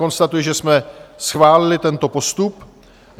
Konstatuji, že jsme schválili tento postup.